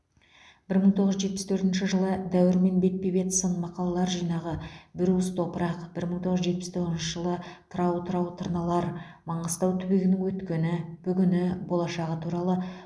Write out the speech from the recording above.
бір мың тоғыз жүз жетпіс төртінші жылы дәуірмен бетпе бет сын мақалалар жинағы бір уыс топырақ бір мың тоғыз жүз жетпіс тоғызыншы жылы тырау тырау тырналар маңғыстау түбегінің өткені бүгіні болашағы туралы